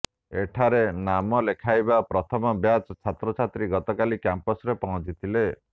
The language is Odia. ଏଠାରେ ନାମ ଲେଖାଇଥିବା ପ୍ରଥମ ବ୍ୟାଚ୍ ଛାତ୍ରଛାତ୍ରୀ ଗତକାଲି କ୍ୟାମ୍ପସରେ ପହଞ୍ଚିଥିଲେ